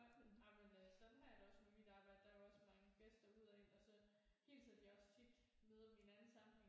Nej jamen øh sådan har jeg det også med mit arbejde der er jo også mange gæster ud og ind og så hilser de også tit møder dem i en anden sammenhæng